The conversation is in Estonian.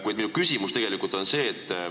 Kuid minu küsimus on see.